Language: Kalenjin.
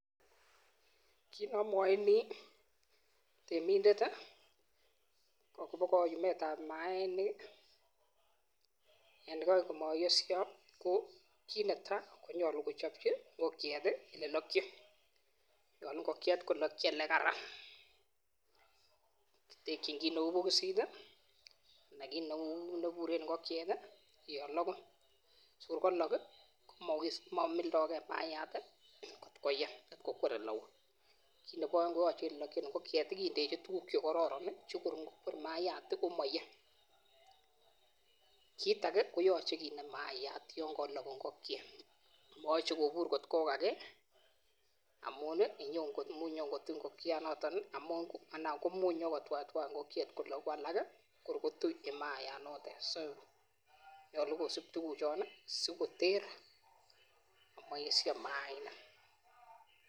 Kin neamwochini temindet akobo kaumet ab mainik en komayesyo kit netai konyolu kochopchi ngokiet olelokyin olekararan kitekyin kii neu bokosit nekararan yekalok ngokiet komebut mayat akoyei eng oleui kit Nebo aeng KO olelokyin ngokiet koyachei kindechi tukuk chekororon sikongokwer mayat komayoei singobur mayat ak ngokiet matkotwaitwai sikoyesyo mainik